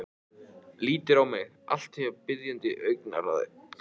Lítur á mig allt að því biðjandi augnaráði.